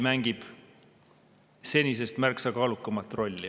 … mängib Eesti senisest märksa kaalukamat rolli.